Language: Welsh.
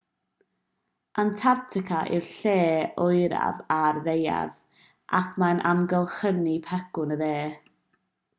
antarctica yw'r lle oeraf ar y ddaear ac mae'n amgylchynu pegwn y de